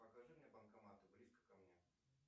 покажи мне банкоматы близко ко мне